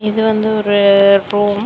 இது வந்து ஒரு ரூம் .